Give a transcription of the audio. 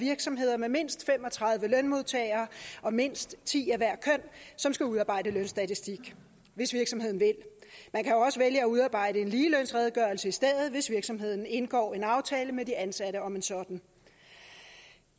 virksomheder med mindst fem og tredive lønmodtagere og mindst ti af hvert køn som skal udarbejde lønstatistik hvis virksomheden vil man kan også vælge at udarbejde en ligelønsredegørelse i stedet hvis virksomheden indgår en aftale med de ansatte om en sådan